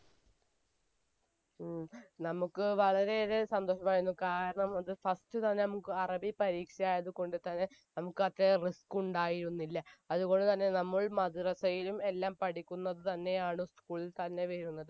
ഉം നമുക്ക് വളരെ ഏറെ സന്തോഷം ആയിരുന്നു കാരണം അത് first തന്നെ നമുക്ക് അറബി പരീക്ഷ ആയതുകൊണ്ട് തന്നെ നമുക്ക് അത്രേം risk ഉണ്ടായിരുന്നില്ല അതുപോലെ തന്നെ നമ്മൾ മദ്രസ്സയിലും എല്ലാം പഠിക്കുന്നത് തന്നെആണ് school തന്നെ വരുന്നത്